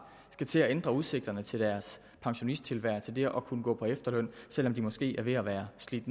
skal til at ændre udsigterne til deres pensionisttilværelse det at kunne gå på efterløn selv om de måske er ved at være slidt